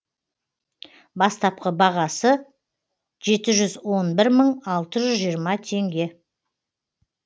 бастапқы бағасы жеті жүз он бір мың алты жүз жиырма теңге